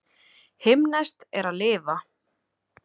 Himneskt er að lifa.